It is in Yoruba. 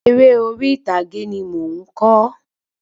Eré orí ìtàgé ni mo n kọ